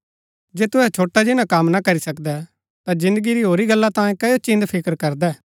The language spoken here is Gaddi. जे तुहै छोटा जिन्‍ना कम ना करी सकदै ता जिन्दगी री होरी गला तांयें कओ चिन्‍दफिकर करदै